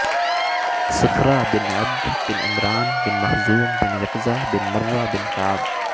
صخرہ bint Abd bin Imran bin Makhzum bin Yaqaza bin Murra bin Kaab